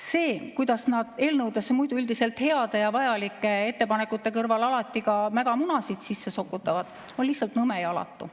See, kuidas nad eelnõudesse muidu üldiselt heade ja vajalike ettepanekute kõrvale alati ka mädamunasid sokutavad, on lihtsalt nõme ja alatu.